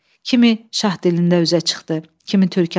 Kimi Şah dilində üzə çıxdı, kimi Türkyanda.